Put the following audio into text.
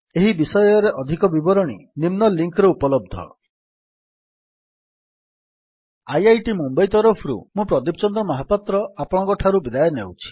httpspoken tutorialorgNMEICT Intro link ରେ ଏହି ବିଷୟରେ ଅଧିକ ସୂଚନା ଉପଲବ୍ଧ ଅଛି